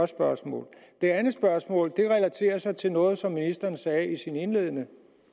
spørgsmål det andet spørgsmål relaterer sig til noget som ministeren sagde i sin indledende